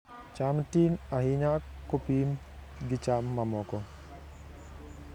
cham tin ahinya kopim gi cham mamoko